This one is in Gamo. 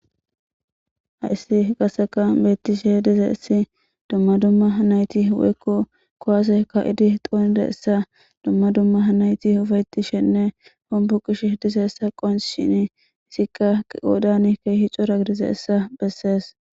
Hays qaseka betishe dizays dumma dumma nayt kuwase ka'id xonidaysa ufa'etishenne dumma dumma hombo ishe dizaysa qoncisishin hesika qodan keeh cora gidizaysa beses.